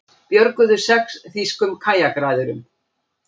Björguðu sex þýskum kajakræðurum